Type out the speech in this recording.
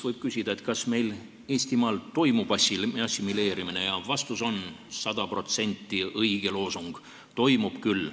Võib küsida, kas meil Eestimaal toimub assimileerimine, ja vastus on, et see on 100% õige loosung, toimub küll.